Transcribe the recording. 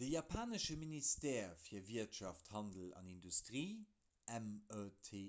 de japanesche ministère fir wirtschaft handel an industrie meti